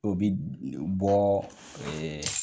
O bi bɔ ee